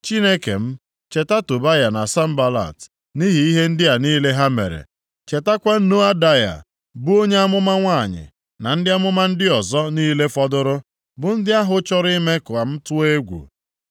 “Chineke m, cheta Tobaya na Sanbalat, nʼihi ihe ndị a niile ha mere, chetakwa Noadaya, bụ onye amụma nwanyị, na ndị amụma ndị ọzọ niile fọdụrụ, bụ ndị ahụ chọrọ ime ka m tụọ egwu.”